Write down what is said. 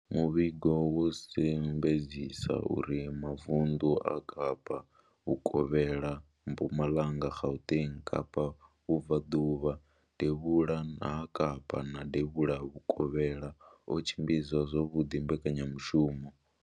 Muvhigo wo sumbedzisa uri mavundu a Kapa vhukovhela, Mpumalanga, Gauteng, Kapa vhubvaḓuvha, devhula ha Kapa na devhula vhukovhela o tshimbidza zwavhuḓi mbekanyamushumo